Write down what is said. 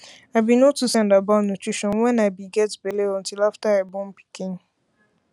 i be no too send about nutrition when i i be get belle until after i born pikin